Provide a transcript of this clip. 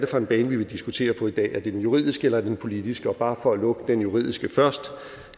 for en bane vi vil diskutere på i dag er det den juridiske eller er det den politiske bare for at lukke den juridiske først